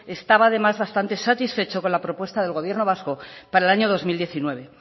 estaba demás bastante satisfecho con la propuesta del gobierno vasco para el año dos mil diecinueve